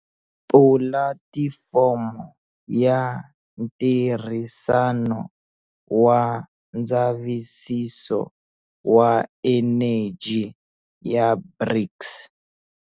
Pulatifomo ya Ntirhisano wa Ndzavisiso wa Eneji ya BRICS.